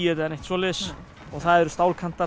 eða neitt svoleiðis og það eru